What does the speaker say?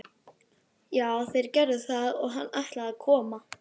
Já, þeir gerðu það og hann ætlaði að koma.